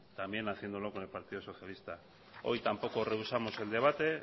también haciéndolo con el partido socialista hoy tampoco rehusamos el debate